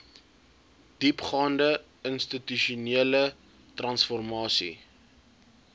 diepgaande institusionele transformasie